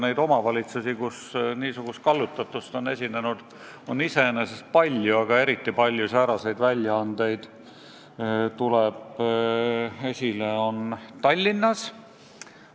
Neid omavalitsusi, kus niisugust kallutatust on esinenud, on iseenesest palju, aga eriti tuleb see probleem esile Tallinnas.